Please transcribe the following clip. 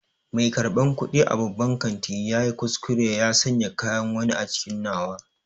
Mai karɓan kuɗi a babban kantin ya yi kuskure ya sanya kayan wani a cikin nawa.